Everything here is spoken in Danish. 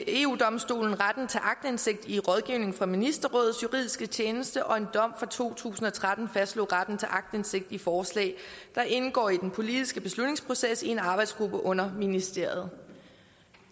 eu domstolen retten til aktindsigt i rådgivning fra ministerrådets juridiske tjeneste og en dom fra to tusind og tretten fastslog retten til aktindsigt i forslag der indgår i den politiske beslutningsproces i en arbejdsgruppe under ministeriet